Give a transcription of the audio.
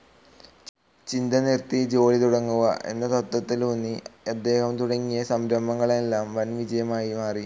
ചിന്ത നിർത്തി ജോലി തുടങ്ങുക എന്ന തത്ത്വത്തിലുന്നി അദ്ദേഹം തുടങ്ങിയ സംരഭങ്ങളെല്ലാം വൻ വിജയമായി മാറി.